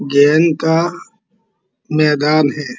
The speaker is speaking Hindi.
गेम का मैदान है।